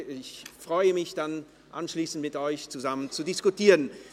Ich freue mich, anschliessend mit Ihnen zusammen zu diskutieren.